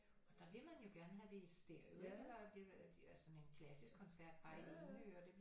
Og der vil man jo gerne have det i stereo sådan en klassisk koncert bare i det ene øre det er jo